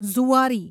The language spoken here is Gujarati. ઝુઆરી